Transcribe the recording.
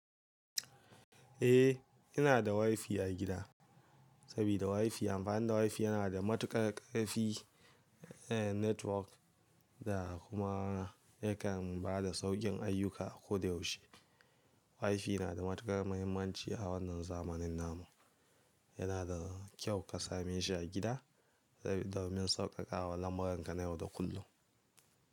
Eh, ina da WiFi a gida. Sabida WiFi, amfanin WiFi yana da matuƙar ƙarfi, eh network da kuma yakan ba da sauƙin ayyuka a ko da yaushe. WiFi na da matuƙar muhimmanci a wannan zamanin namu. Yana da kyau ka same shi a gida, domin sauƙaƙawa lambuwar ka na yau da kullum.